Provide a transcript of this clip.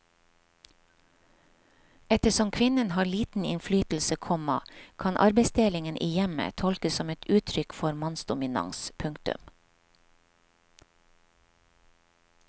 Ettersom kvinnen har liten innflytelse, komma kan arbeidsdelingen i hjemmet tolkes som et uttrykk for mannsdominans. punktum